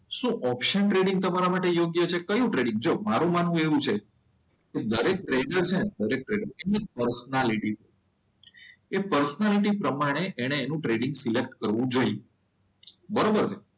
શું option trading તમારા માટે યોગ્ય છે? કયું ટ્રેડિંગ જો મારું માનવું એવું છે કે દરેક ટ્રેડર છે ને દરેક ટ્રેડર એની પર્સનાલિટી એ પર્સનાલિટી પ્રમાણે એને એનું ટ્રેડિંગ સિલેક્ટ કરવું જોઈએ. બરોબર છે